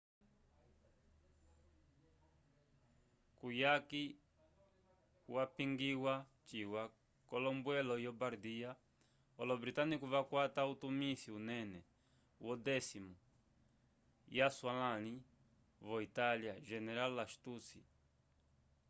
kuyaki yapongiyiwa ciwa k’ombwelo yo bardia olo-britânico vakwata utumisi unene wo 10º yaswalãli vo-itália general lastucci